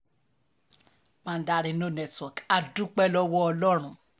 mandarin no network á dúpẹ́ lọ́wọ́ ọlọ́run